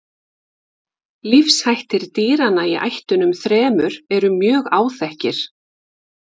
Lífshættir dýranna í ættunum þremur eru mjög áþekkir.